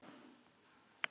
Hvíl í friði, elsku Egill.